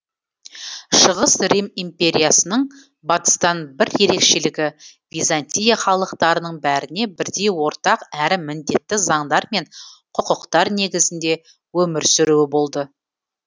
шығыс рим империясының батыстан бір ерекшелігі византия халықтарының бәріне бірдей ортақ әрі міндетті заңдар мен құқықтар негізінде өмір сүруі болды